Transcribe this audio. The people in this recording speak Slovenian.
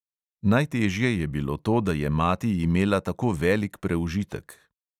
Najtežje je bilo to, da je mati imela tako velik preužitek.